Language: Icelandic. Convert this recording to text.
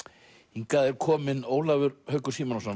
hingað er kominn Ólafur Haukur Símonarson